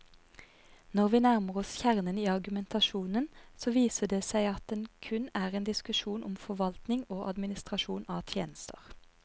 Når vi nærmer oss kjernen i argumentasjonen, så viser det seg at det kun er en diskusjon om forvaltning og administrasjon av tjenester.